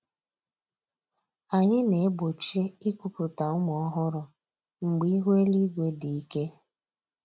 Anyị na-egbochi ikuputa ụmụ ọhụrụ mgbe ihu eluigwe dị ike